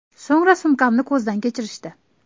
So‘ngra sumkamni ko‘zdan kechirishdi.